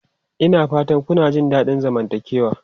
Ina fatan kuna jin daɗin zamantakewa?